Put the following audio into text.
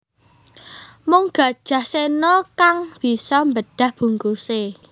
Mung Gajah Sena kang bisa mbedah bungkuse